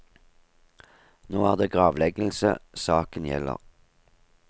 Nå er det gravleggelse saken gjelder.